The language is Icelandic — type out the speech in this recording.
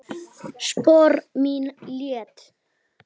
Spor mín létt.